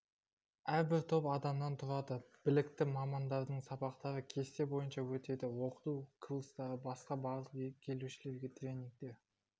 әрбір топ адамнан тұрады білікті мамандардың сабақтары кесте бойынша өтеді оқыту курстарынан басқа барлық келушілерге тренингтер